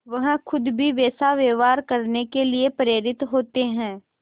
वह खुद भी वैसा व्यवहार करने के लिए प्रेरित होते हैं